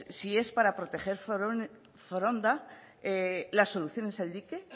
si es para proteger foronda la solución es el dique